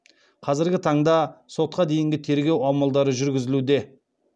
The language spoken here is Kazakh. қазіргі таңда сотқа дейінгі тергеу амалдары жүргізілуде